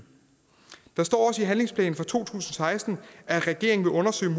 der står også i handlingsplanen for to tusind og seksten at regeringen vil undersøge